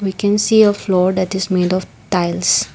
we can see a floor that is made of tails.